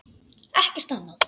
Ekkert annað?